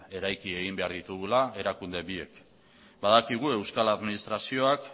eraiki egin behar ditugula erakunde biek badakigu euskal administrazioak